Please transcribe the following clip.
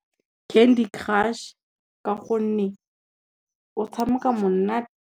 Candy Crush ka gonne, o tshameka monate.